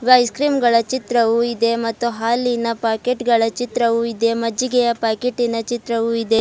Ice cream ಗಳ ಚಿತ್ರವು ಇದೆ ಮತ್ತು ಹಾಲಿನ ಪಾಕೆಟ್ ಗಳ ಚಿತ್ರವು ಇದೆ ಮಜ್ಜಿಗೆಯ ಪಾಕೆಟಿ ನ ಚಿತ್ರವು ಇದೆ.